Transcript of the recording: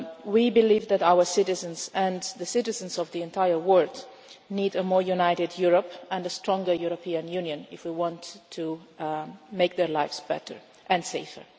We believe that our citizens and the citizens of the entire world need a more united Europe and a stronger European Union if we want to make their lives better and safer.